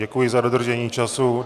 Děkuji za dodržení času.